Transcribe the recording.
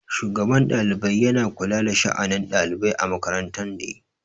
Shugaban ɗalibai yana kula da sha'anin ɗalibai a makaranta ne.